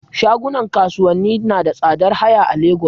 Shagunan kasuwanni nada tsadar haya a Lagos